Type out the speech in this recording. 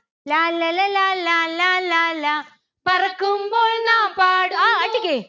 ലാല്ലല ലാലാ ലാലാ ലാ. പറക്കുമ്പോൾ നാം